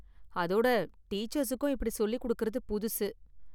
அதோட டீச்சர்ஸுக்கும் இப்படி சொல்லி கொடுக்கறது புதுசு.